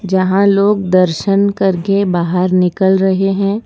जहां लोग दर्शन करके बाहर निकल रहे हैं।